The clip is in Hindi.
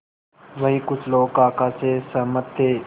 वहीं कुछ लोग काका से सहमत थे